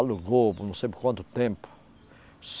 Alugou por não sei por quanto tempo.